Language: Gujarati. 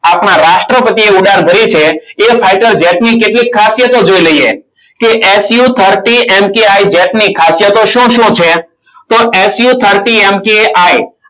આપણા રાષ્ટ્રપતિએ ઉડાન ભરી છે. એ fighter jet ની કેટલીક ખાસિયતો જોઈ લઈએ. કે su thirty mki jet ની ખાસિયતો શું શું છે? તો su thirty mki